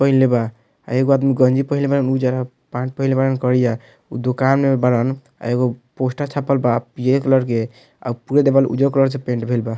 पहिनले बा आ एगो आदमी गंजी पहिनले बाड़न उजड़ आ पैंन्ट पहिनले बाड़न करिया उ दुकान में बाड़न आ एगो पोस्टर छप्पल बा पियर कलर के आ पूरा दीवाल उज्जर कलर से पेंट भइल बा।